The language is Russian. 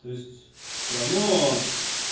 то есть всё равно